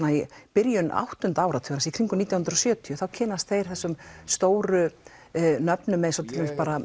byrjun áttunda áratugarins í kringum nítján hundruð og sjötíu þá kynnast þeir þessum stóru nöfnum eins og til dæmis bara